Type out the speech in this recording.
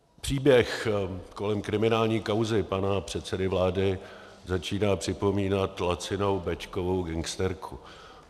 Příběh kolem kriminální kauzy pana předsedy vlády začíná připomínat lacinou béčkovou gangsterku.